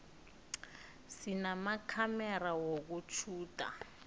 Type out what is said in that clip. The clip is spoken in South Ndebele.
sinamakhamera wokutjhuda